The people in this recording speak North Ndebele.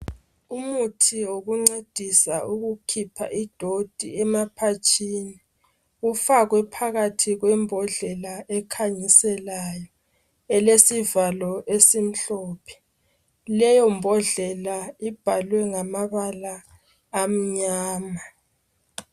Umuthi wokungcedisa ukukhipha idoti emaphatshini ufakwe phakathi kwembodlela ekhanyiselayo elesivalo esimhlophe leyo mbodlela ibhalwe ngamabala amnyama.